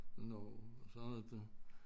Og Norge og så har jeg været til